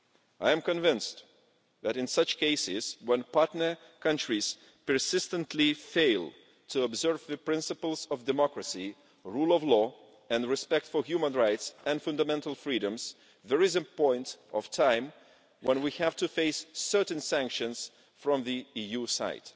I am convinced that in such cases when partner countries persistently fail to observe the principles of democracy, rule of law and respect for human rights and fundamental freedoms, there is a point in time when we have to face certain sanctions from the EU side.